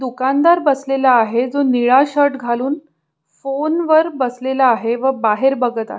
दुकानदार बसलेला आहे जो निळा शर्ट घालून फोनवर बसलेला आहे व बाहेर बघत आहे.